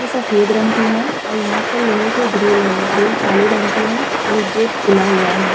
ये सफ़ेद रंग की है और यहाँ पर लोहे के ग्रील है। ग्रील काले रंग की है और ये गेट खुला हुआ है।